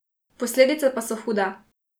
Posledice pa so hude.